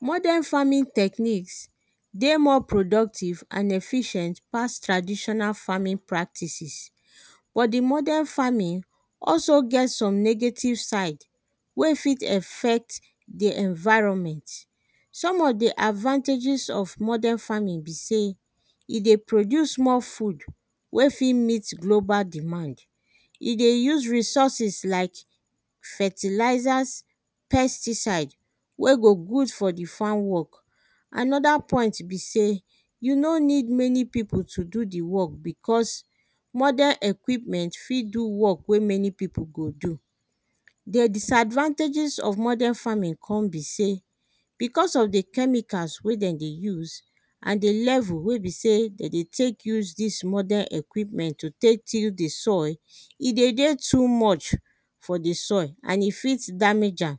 Modern farming technique dey more productive and efficient pass traditional farming practices but di modern farming also get some negative side wey fit affect di environment. Some of di advantages of modern farming be sey e dey produce more food wey fit met global demand, e dey use resources like fertilizers, pesticide wey go good for di farm work. Another point be sey you no need many pipo to do di work becos modern equipment fit do work wey many pipo go do. Di disadvantages of modern farming come be sey becos of di chemicals wey dem dey use and di level wey be sey de dey take use dis modern equipment to tek till di soil, e dey dey too much for di soil and e fit damage am,